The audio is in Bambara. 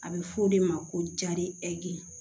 A bɛ fɔ o de ma ko jari ɛri